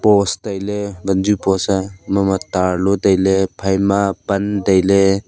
post wanju post a mama tarlo tailey phaima pan tailey.